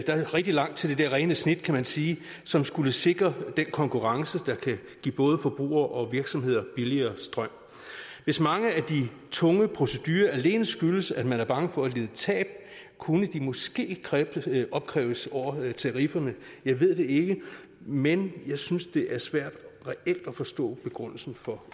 der er rigtig langt til det der rene snit kan man sige som skulle sikre den konkurrence der kan give både forbrugere og virksomheder billigere strøm hvis mange af de tunge procedurer alene skyldes at man er bange for at lide tab kunne måske opkræves over tarifferne jeg ved det ikke men jeg synes det er svært reelt at forstå begrundelsen for